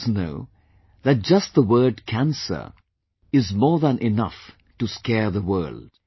All of us know that just the word CANCER is more than enough to scare the world